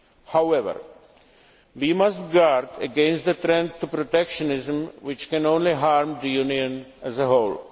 However, we must guard against the trend to protectionism, which can only harm the Union as a